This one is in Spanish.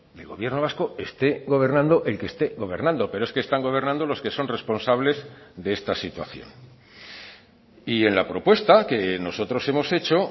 del gobierno vasco esté gobernando el que esté gobernando pero es que están gobernando los que son responsables de esta situación y en la propuesta que nosotros hemos hecho